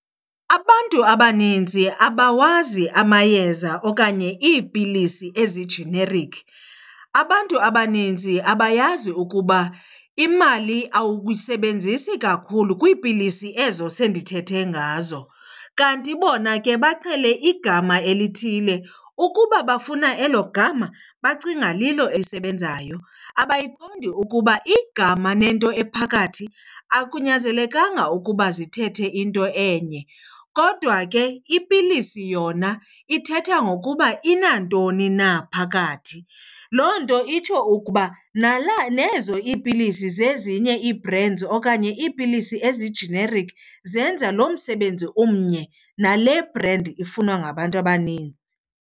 Abantu abaninzi abawazi amayeza okanye iipilisi ezi-generic. Abantu abaninzi abayazi ukuba imali awuyisebenzisi kakhulu kwiipilisi ezo sendithethe ngazo. Kanti bona ke baqhele igama elithile, ukuba bafuna elo gama bacinga lilo elisebenzayo. Abayiqondi ukuba igama nento ephakathi akunyanzelekanga ukuba zithethe into enye, kodwa ke ipilisi yona ithetha ngokuba inantoni na phakathi. Loo nto itsho ukuba nezo iipilisi zezinye ii-brands okanye iipilisi ezi-generic zenza lo msebenzi omnye nale brand ifunwa ngabantu abaninzi.